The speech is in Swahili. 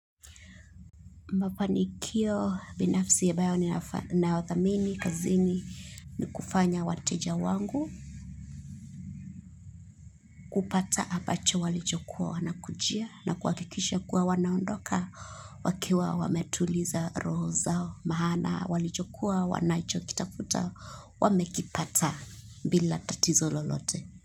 Mafanikio binafsi abayo ni nao thamini kazi ni ni kufanya wateja wangu kupata apacho walichokuwa wana kujia na kuwakikisha kuwa wanaondoka wakiwa wametuliza roho zao mahana walichokuwa wanachokitafuta wamekipata bila tatizo lolote.